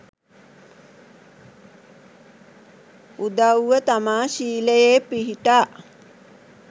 උදවුව තමා ශීලයේ පිහිටා